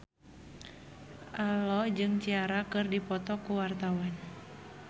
Ello jeung Ciara keur dipoto ku wartawan